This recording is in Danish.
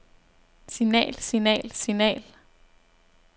signal signal signal